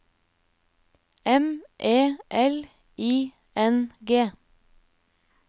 M E L I N G